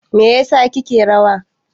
me yasa kike rawa?